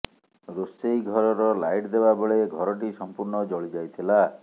ରୋଷେଇ ଘରର ଲାଇଟ୍ ଦେବା ବେଳେ ଘରଟି ସମ୍ପୂର୍ଣ୍ଣ ଜଳି ଯାଇଥିଲା